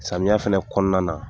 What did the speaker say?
Samiya fɛnɛ kɔnɔna na